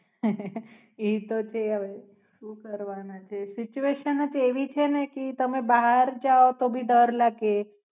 આહ ઈ તો છે હવે શું કરવાના situation જ એવી છે ને કે તમે બહાર જાવ તો ભી ડર લાગે.